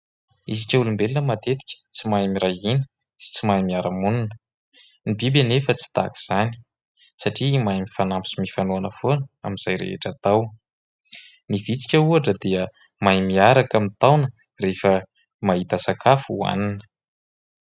Isika olombelona matetika tsy mahay miray hina sy tsy mahay miara-monina. Ny biby anefa tsy tahaka izany satria mahay mifanampy sy mifanohana foana amin'izay rehetra atao. Ny vitsika ohatra dia mahay miaraka mitaona rehefa mahita sakafo hoanina.